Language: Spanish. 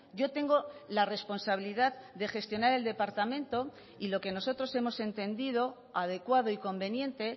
yo tengo la responsabilidad de gestionar el departamento y lo que nosotros hemos entendido adecuado y conveniente